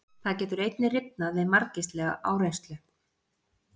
Það getur einnig rifnað við margvíslega áreynslu.